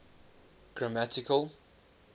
grammatical